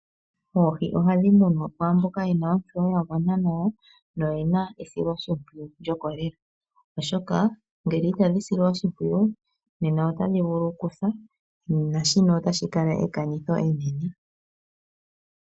Oohi ohadhi munwa kwaamboka ye na ontseyo yagwana nawa, no yena esilo shimpwiyu lyokolela oshoka ngele inadhi silwa oshimpwiyu otadhi vulu okwiisila naan shino otashi kala ekanitho enene.